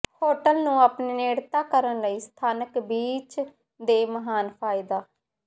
hotel ਨੂੰ ਆਪਣੇ ਨੇੜਤਾ ਕਰਨ ਲਈ ਸਥਾਨਕ ਬੀਚ ਦੇ ਮਹਾਨ ਫਾਇਦਾ